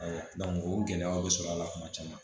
o gɛlɛyaw bɛ sɔrɔ a la kuma caman